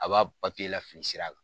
A b'a papiye lafili sira kan.